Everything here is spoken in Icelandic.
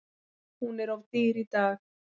Hún er of dýr í dag.